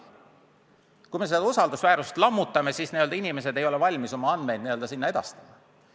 Kui me seda usaldusväärtust lammutame, siis inimesed ei ole valmis oma andmeid sinna edastama.